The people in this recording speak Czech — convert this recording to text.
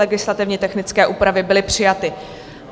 Legislativně technické úpravy byly přijaty.